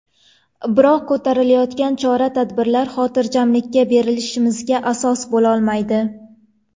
Biroq ko‘rilayotgan chora-tadbirlar xotirjamlikka berilishimizga asos bo‘lolmaydi”.